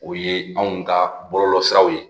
O ye anw ka bɔlɔlɔsiraw ye